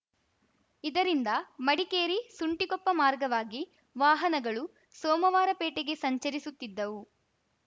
ಇದರಿಂದ ಮಡಿಕೇರಿಸುಂಟಿಕೊಪ್ಪ ಮಾರ್ಗವಾಗಿ ವಾಹನಗಳು ಸೋಮವಾರಪೇಟೆಗೆ ಸಂಚರಿಸುತ್ತಿದ್ದವು